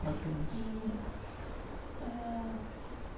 Quatro anos e ãh.